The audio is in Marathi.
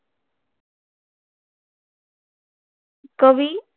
कवी